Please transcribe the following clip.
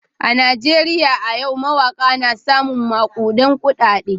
A Najeriya a yau mawaka na samun makudan kudade.